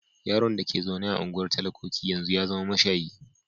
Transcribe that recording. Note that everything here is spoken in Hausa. Yaron da ke zaune a unguwar talakoki a yanzu ya zama mashayi.